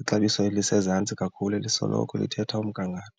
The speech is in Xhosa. Ixabiso elisezantsi kakhulu elisoloko lithetha umgangatho.